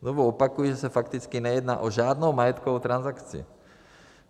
Znovu opakuji, že se fakticky nejedná o žádnou majetkovou transakci.